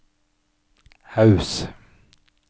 Haus